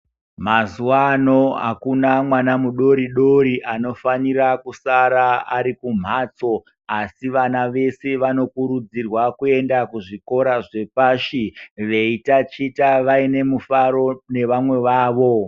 Mazuva ano hakuna mwana mudoridori anofanira kusara ari kumhatso, asi vana vese vanokurudzirwa kuenda kuzvikora zvepashi veitachita vaine mufaro nevamwe vavo.